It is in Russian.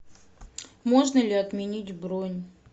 можно ли отменить бронь